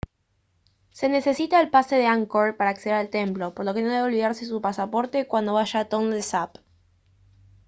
se necesita el pase de angkor para acceder al templo por lo que no debe olvidarse su pasaporte cuando vaya a tonle sap